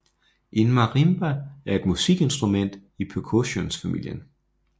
En marimba er et musikinstrument i percussionfamilien